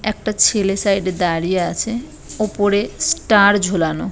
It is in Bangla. একটা ছেলে সাইড -এ দাঁড়িয়ে আছে ওপরে ষ্টার ঝোলানো।